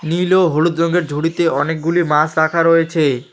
নীল ও হলুদ রংয়ের ঝুড়িতে অনেকগুলি মাস রাখা রয়েছে।